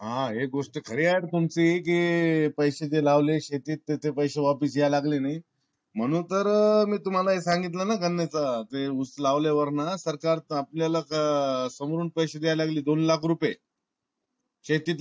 हा ही गोष्ट खरी आहे तुमची कि पैसे जे लावले शेतीत ते पैसे वापस याय लागले नही म्हणून तर मी तुम्हा ला हे संगीत ल ना ते ऊस लावल्या वर ना सरकार आपल्या ला आह समोरून पैसे द्यायला लागली दोन लाख रुपये शेतीत